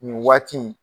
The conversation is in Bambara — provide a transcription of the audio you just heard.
Nin waati in